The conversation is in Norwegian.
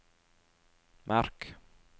merk